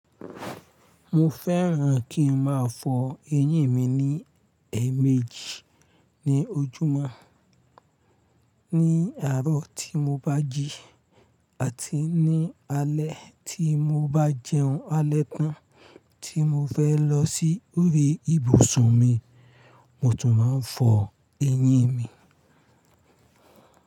Mo fẹ́ràn kí n máa fọ eyín mi ní ẹẹ̀méjì ní ojúmọ́, ní àárọ̀ tí mo bá jí àti ní alé tí mo bá jẹun alẹ́ tán tí mo fẹ́ lọ sí orí ìbùsùn mi, mo tún máa ń fọ eyín mi.